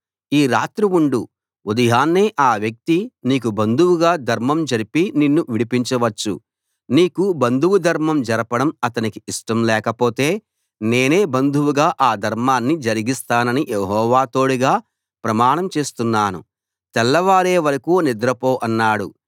ఈ రాత్రి ఉండు ఉదయాన్నే ఆ వ్యక్తి నీకు బంధువుగా ధర్మం జరిపి నిన్ను విడిపించవచ్చు నీకు బంధువు ధర్మం జరపడం అతనికి ఇష్టం లేకపోతే నేనే బంధువుగా ఆ ధర్మాన్ని జరిగిస్తానని యెహోవా తోడుగా ప్రమాణం చేస్తున్నాను తెల్లవారే వరకూ నిద్రపో అన్నాడు